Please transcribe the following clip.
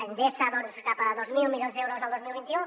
endesa doncs cap a dos mil milions d’euros el dos mil vint u